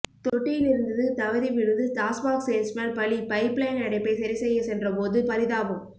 தொட்டியிலிருந்தது தவிறி விழுந்து டாஸ்மாக் சேல்ஸ்மேன் பலி பைப் லைன் அடைப்பை சரிசெய்ய சென்றபோது பறிதாபம்